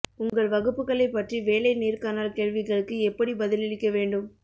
உங்கள் வகுப்புகளை பற்றி வேலை நேர்காணல் கேள்விகளுக்கு எப்படி பதிலளிக்க வேண்டும்